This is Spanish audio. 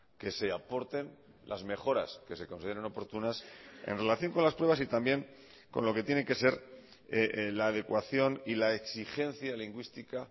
que se aporten las mejoras que se consideren oportunas en relación con las pruebas y también con lo que tiene que ser la adecuación y la exigencia lingüística